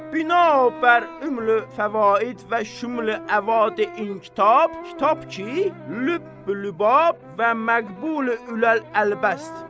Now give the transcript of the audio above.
Binabər ömrlü fəvaid və şümlü əvade inkütab, kitab ki, lübb-lübab və məqbul ül-əlbasdır.